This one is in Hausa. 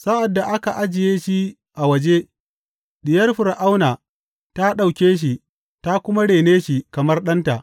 Sa’ad da aka ajiye shi a waje, diyar Fir’auna ta ɗauke shi ta kuma rene shi kamar ɗanta.